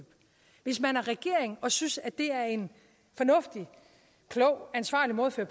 hvis man er regering og synes at det er en fornuftig klog ansvarlig måde at